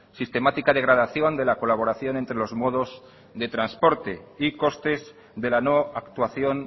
sistemática degradación de la colaboración entre los modos de transporte y costes de la no actuación